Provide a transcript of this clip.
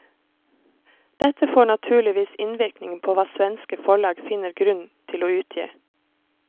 Dette får naturligvis innvirkning på hva svenske forlag finner grunn til å utgi.